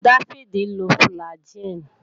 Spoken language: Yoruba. Dáfídì ń lo fùlàgi